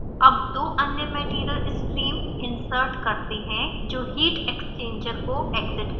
अब दो अन्य material streams insert करते हैं जो heat exchanger को exit करें